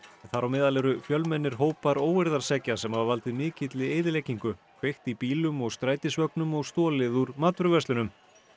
þar á meðal eru fjölmennir hópar óeirðaseggja sem hafa valdið mikilli eyðileggingu kveikt í bílum og strætisvögnum og stolið úr matvöruverslunum